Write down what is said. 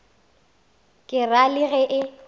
ke ra le ge e